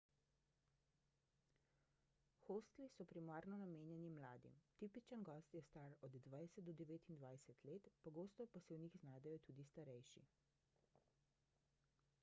hostli so primarno namenjeni mladim – tipičen gost je star od 20 do 29 let – pogosto pa se v njih znajdejo tudi starejši